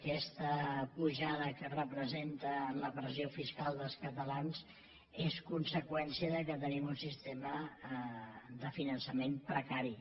aquesta pujada que representa la pressió fiscal dels catalans és conseqüència del fet que tenim un sistema de finançament precari